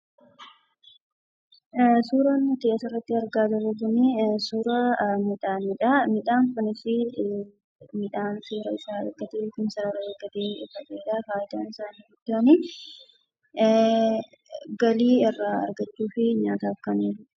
Suuraan asirratti nuti argaa jirru kunii, suuraa midhaanidhaa, Midhaan kunis midhaan seera isaa eeggatee yookiin sarara eeggatee faca'edhaa. Fayidaan isaa inni guddaan galii irraa argachuu fi nyaataaf kan ooludha.